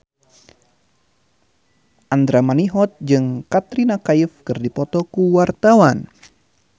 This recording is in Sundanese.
Andra Manihot jeung Katrina Kaif keur dipoto ku wartawan